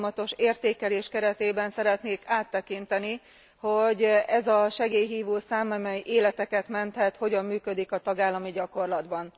Egy folyamatos érékelés keretében szeretnék áttekinteni, hogy ez a segélyhívó szám, amely életeket menthet, hogyan működik a tagállami gyakorlatban.